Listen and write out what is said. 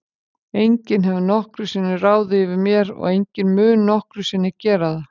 Enginn hefur nokkru sinni ráðið yfir mér og enginn mun nokkru sinni gera það.